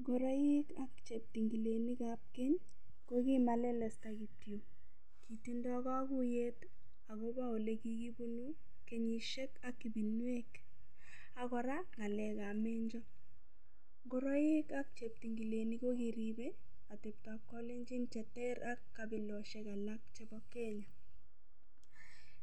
Ngoroik ak cheptingilenikab keny kokimalelesta kityo kitindoi kakuyet akobo ole kikibunu kenyishek ak ibinwek ak kora ng'alekab menjo ngoroik ak cheptingilenik ko kiribei ateptoab kalenjin cheterter ak kabiloshek alak chebo Kenya